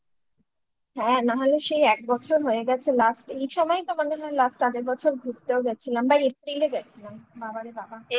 হ্যাঁ না হলে সেই এক বছর হয়ে গেছে last এই সময়ই তোমাদের হয় last আগের বছর ঘুরতেও গেছিলাম বা April গেছিলাম বাবারে বাবা